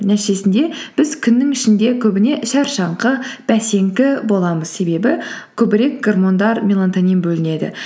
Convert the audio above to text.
нәтижесінде біз күннің ішінде көбіне шаршаңқы бәсеңкі боламыз себебі көбірек гормондар мелатонин бөлінеді